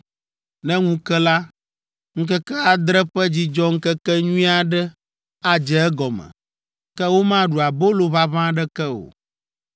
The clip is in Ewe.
Ne ŋu ke la, ŋkeke adre ƒe dzidzɔŋkekenyui aɖe adze egɔme, ke womaɖu abolo ʋaʋã aɖeke o.